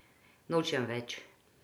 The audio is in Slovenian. Nočem več.